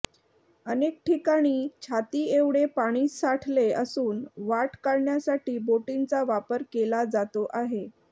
अनेक ठिकाणी छातीएवढे पाणी साठले असून वाट काढण्यासाठी बोटींचा वापर केला जातो आहे